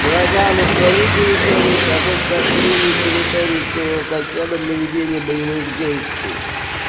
врага на свою территорию соответственно открыли территорию своего соседа для ведения боевых действий